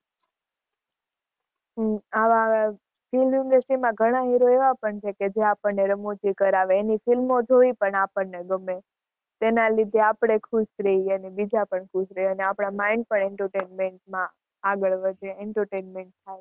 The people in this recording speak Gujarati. હમ આવા film industry માં ઘણા hero એવા પણ છે કે જે આપણને રમૂજી કરાવે, એની ફિલ્મો જોવી પણ આપણને ગમે, તેના લીધે આપણે ખુશ રહીએ અને બીજા પણ ખુશ રહે અને આપણાં mind પણ entertainment માં આગળ વધે Entertainment થાય.